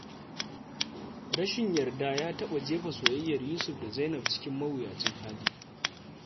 Rashin yarda ya taɓa jefa soyayyar Yusuf da Zainab cikin mawuyacin hali.